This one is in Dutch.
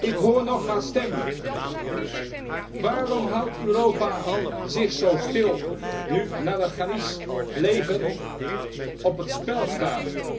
Ik hoor nog haar stem Waarom houdt Europa zich zo stil, nu Nadarkhani's leven op het spel staat?